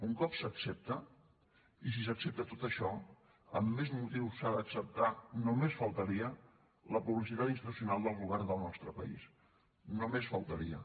un cop s’accepta i si s’accepta tot això amb més motiu s’ha d’acceptar només faltaria la publicitat institucional del govern del nostre país només faltaria